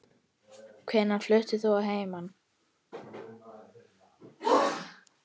Hvenær fluttir þú að heiman?